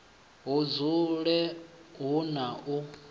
hu dzule hu na u